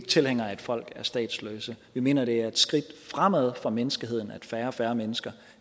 tilhængere af at folk er statsløse vi mener at det er et skridt fremad for menneskeheden at færre og færre mennesker